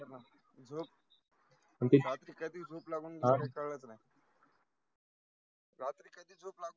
झोप, रात्री कधी झोप लागून गेली कळलचं नाही. रात्री कधी झोप